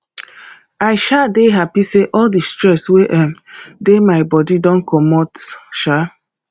i um dey happy say all the stress wey um dey my body don comot um